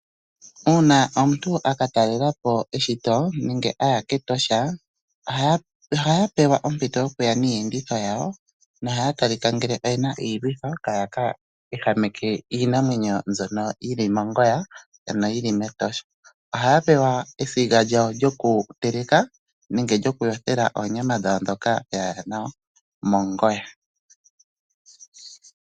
Uuna omuntu a katalela po eshito nenge aya kEtosha ohaya pewa ompito yokuya niiyenditho yawo no haya talika ngele oyena iilwitho kaaye keehameke iinamwenyo mbyono yili mongoya ano yili mEtosha. Ohaya pewa esiga lyawo lyokuteleka nenge lyokuyothela oonyama dhawo ndhoka yaya nadho mongoya.